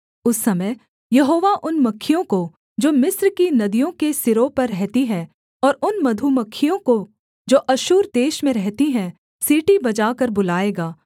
उस समय यहोवा उन मक्खियों को जो मिस्र की नदियों के सिरों पर रहती हैं और उन मधुमक्खियों को जो अश्शूर देश में रहती हैं सीटी बजाकर बुलाएगा